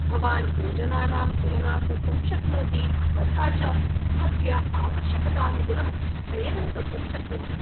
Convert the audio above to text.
भवान् योजनानां तुलनां कर्तुं शक्नोति, तथा च स्वस्य आवश्यकतानुगुणं चयनं कर्तुं शक्नोति।